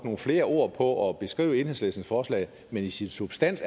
nogle flere ord på at beskrive enhedslistens forslag men i sin substans